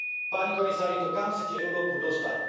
Páni komisári, to kam chcete Európu dostať?